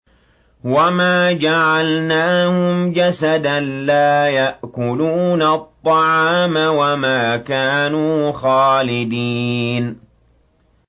وَمَا جَعَلْنَاهُمْ جَسَدًا لَّا يَأْكُلُونَ الطَّعَامَ وَمَا كَانُوا خَالِدِينَ